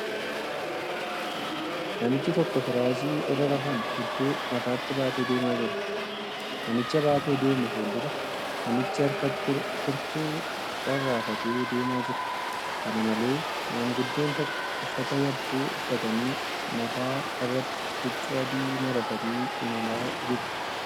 Namichi tokko firaashii irra rafan hedduu mataatti baatee deemaa jira. Namicha baatee deemu fuuldura namichi harkatti kurtuu rarraafatee deemaa jira. Kana malee, maanguddoon tokko uffata yabbuu uffatani mataa irratti huccuu adii maratanii imalaa jiru.